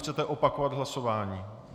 Chcete opakovat hlasování.